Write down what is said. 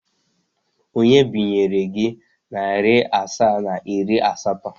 Onye binyere gị narị asaa na iri asatọ?